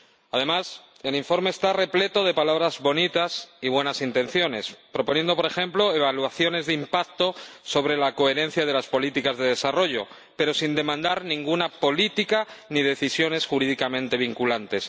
Además, el informe está repleto de palabras bonitas y buenas intenciones propone, por ejemplo, evaluaciones de impacto sobre la coherencia de las políticas de desarrollo, pero sin demandar ninguna política ni decisiones jurídicamente vinculantes.